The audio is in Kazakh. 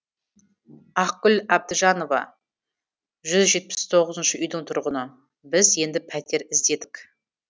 ақгүл әбдіжанова жүз жетпіс тоғызыншы үйдің тұрғыны біз енді пәтер іздедік